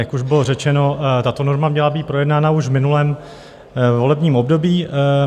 Jak už bylo řečeno, tato norma měla být projednána už v minulém volebním období.